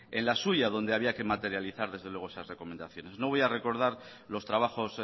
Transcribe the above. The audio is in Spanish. en la suya donde había que materializar desde luego esas recomendaciones no voy a recordar los trabajos